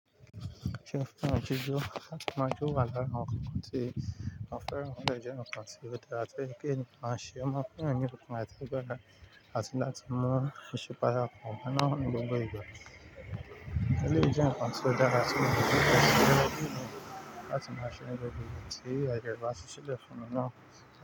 Ṣé o fẹ́ràn ojújù? Láti máa jọ wà lára àwọn nkan tí mọ́n fẹ́ràn o dé je n kan tí ọ dara ti pé èniyàn mọ́ ṣe o mọ̀ fún yàn nì ọkùn áti agbọ́ra àti láti mọ ìṣupayà ọkùn kan ná ni gbogbo. Ṣé lóyún jẹ́ nǹkan tí o dára sí ọkùnrin láti máa ṣe ní gbogbo ìgbà, tí àìní ẹran sì ṣe jẹ́ fún mi náà.